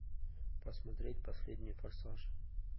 посмотреть последний форсаж